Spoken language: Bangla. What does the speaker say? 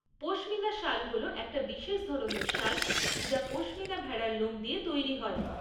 পশমিনা শাল হ'ল একটা বিশেষ ধরনের শাল যা পশমিনা ভেড়ার লোম দিয়ে তৈরি হয়।